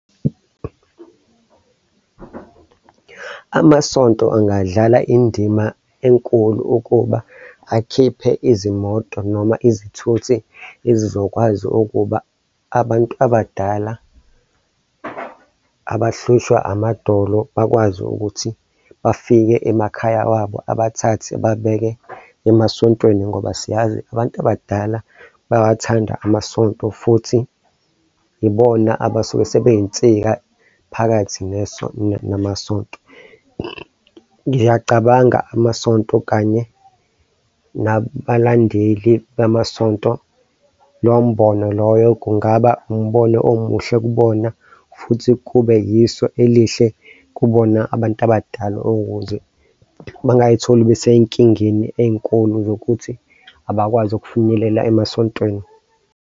Amasonto angadlala indima enkulu ukuba akhiphe izimoto noma izithuthi ezizokwazi ukuba abantu abadala abahlushwa amadolo bakwazi ukuthi bafike emakhaya wabo abathathe babeke emasontweni ngoba siyazi abantu abadala bayawathanda amasonto futhi yibona abasuke sebeyinsika phakathi namasonto. Ngiyacabanga amasonto kanye nabalandeli bamasonto. Lowo mbono loyo kungaba umbono omuhle kubona futhi kube yiso elihle kubona abantu abadala ukuze bangay'tholi besey'nkingeni ey'nkulu zokuthi abakwazi ukufinyelela emasontweni.